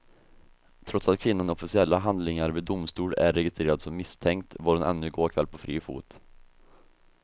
Trots att kvinnan i officiella handlingar vid domstol är registrerad som misstänkt var hon ännu i går kväll på fri fot.